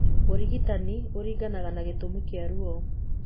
Ũrigitani ũringanaga na gĩtũmi kĩa ruo.